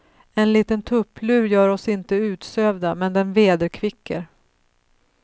En liten tupplur gör oss inte utsövda, men den vederkvicker.